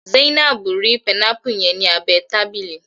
Zainabu ri panámpù yẹn ni abẹ tábìlì.